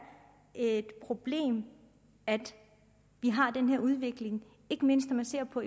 et problem at vi har den her udvikling ikke mindst når man ser på